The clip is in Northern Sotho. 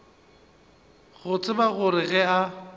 go tseba gore ge a